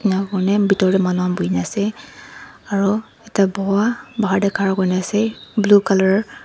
enia kurne bitor deh manu khan bhuine asey aro ekta buwa bahar deh khara kure asey blue colour .